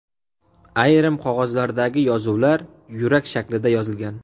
Ayrim qog‘ozlardagi yozuvlar yurak shaklida yozilgan.